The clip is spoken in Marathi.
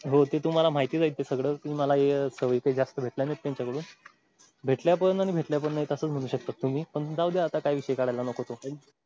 हो ते तुम्हाला माहितीच आहे ते सगळं कि मला सवयी काय जास्त भेटल्या नाहीत त्यांच्या कडून भेटल्या पण आणि भेटल्या पण नाही असच म्हणू शकता तुम्ही पण जाऊद्या आता काय विषय काढायला नको तो.